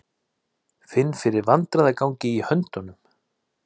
Finn fyrir vandræðagangi í höndunum.